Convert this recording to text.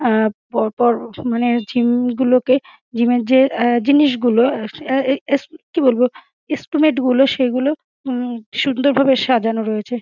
আ পরপর মানে জিম গুলো কে জিমের যে জিনিসগুলো অ্যা -অ্যা - অ্যা কি বলবো এসটিমেট গুলো সে গুলো উম সুন্দর ভাবে সাজানো রয়েছে।